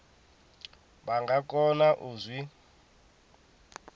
vha nga kona u zwi